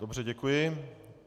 Dobře, děkuji.